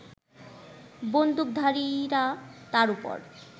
বন্দুকধারীরা তার ওপর